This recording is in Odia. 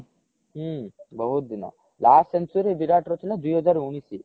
ହୁଁ ବହୁତ ଦିନ last century ବିରାଟ ର ଥିଲା ଦୁଇ ହଜାର ଉଣେଇଶି